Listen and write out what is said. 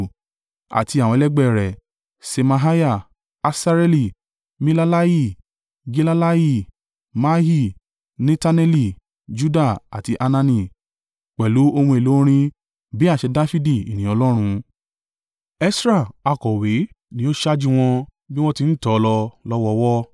àti àwọn ẹlẹgbẹ́ rẹ̀, Ṣemaiah, Asareeli, Milalai, Gilalai, Maai, Netaneli, Juda àti Hanani—pẹ̀lú ohun èlò orin bí àṣẹ Dafidi ènìyàn Ọlọ́run. Esra akọ̀wé ni ó ṣáájú wọn bí wọ́n ti ń tò lọ lọ́wọ̀ọ̀wọ́.